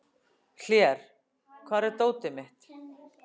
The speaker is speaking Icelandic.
Hlér, hvar er dótið mitt?